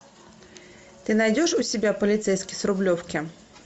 ты найдешь у себя полицейский с рублевки